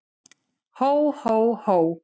Hó, hó, hó!